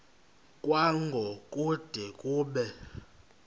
kwango kude kube